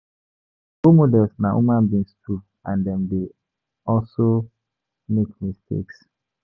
Role models na human being too and dem dey also make mistakes